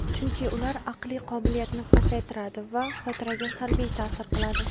chunki ular aqliy qobiliyatni pasaytiradi va xotiraga salbiy ta’sir qiladi.